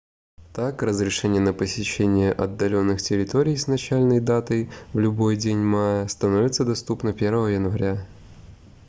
так разрешение на посещение отдаленных территорий с начальной датой в любой день мая становится доступно 1 января